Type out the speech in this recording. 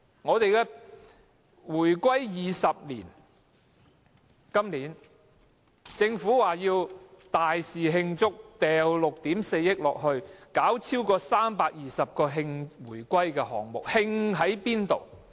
今年是回歸20周年，政府表示要盛大慶祝，撥款6億 4,000 萬元，舉行超過320個慶回歸的項目。